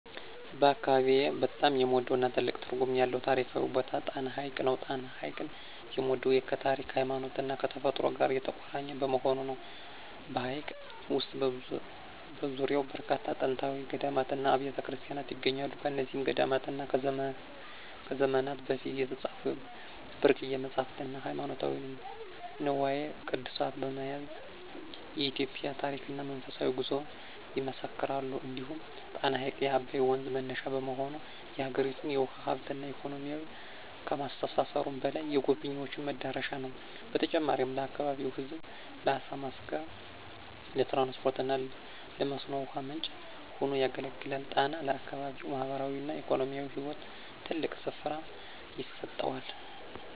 በአካባቢዬ በጣም የምወደውና ትልቅ ትርጉም ያለው ታሪካዊ ቦታ ጣና ሐይቅ ነው። ጣና ሐይቅን የምወደው ከታሪክ፣ ከሃይማኖትና ከተፈጥሮ ጋር የተቆራኘ በመሆኑ ነው። በሐይቁ ውስጥና በዙሪያው በርካታ ጥንታዊ ገዳማትና አብያተ ክርስቲያናት ይገኛሉ። እነዚህ ገዳማት ከዘመናት በፊት የተጻፉ ብርቅዬ መጻሕፍትና ሃይማኖታዊ ንዋየ ቅድሳት በመያዝ የኢትዮጵያን ታሪክና መንፈሳዊ ጉዞ ይመሰክራሉ። እንዲሁም ጣና ሐይቅ የአባይ ወንዝ መነሻ በመሆኑ፣ የአገሪቱን የውሃ ሀብትና ኢኮኖሚ ከማስተሳሰሩም በላይ፣ የጎብኝዎች መዳረሻ ነው። በተጨማሪም ለአካባቢው ሕዝብ ለዓሣ ማስገር፣ ለትራንስፖርትና ለመስኖ ውሃ ምንጭ ሆኖ ያገለግላል። ሐይቁ ለአካባቢው ማኅበራዊና ኢኮኖሚያዊ ሕይወት ትልቅ ስፍራ ይሰጠዋል።